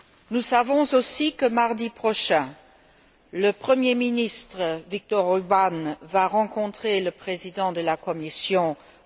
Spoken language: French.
Nous savons aussi que, mardi prochain, le Premier ministre, Viktor Orbán, va rencontrer le Président de la Commission, M.